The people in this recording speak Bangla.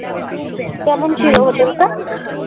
কেমন ছিল হোটেলটা?